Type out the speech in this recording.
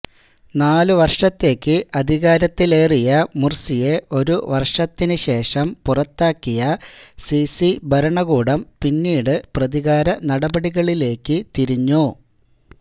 നാലു വർഷത്തേക്ക് അധികാരത്തിലേറിയ മുർസിയെ ഒരു വർഷത്തിനു ശേഷം പുറത്താക്കിയ സീസി ഭരണകൂടം പിന്നീട് പ്രതികാരനടപടികളിലേക്ക് തിരിഞ്ഞു